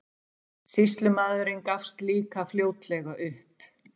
Sýslumaðurinn gafst líka fljótlega upp.